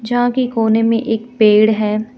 जहां की कोने में एक पेड़ है.